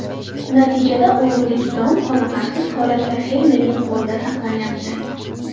Natijada urug‘lik don qoniqarsiz holatda fermerning qo‘lida saqlanayapti.